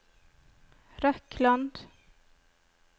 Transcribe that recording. Røkland